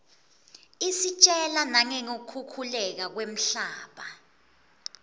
isitjela nangeku khukhuleka kwemhlaba